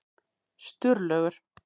Sturlaugur